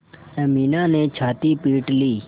अमीना ने छाती पीट ली